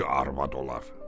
ər arvad olar.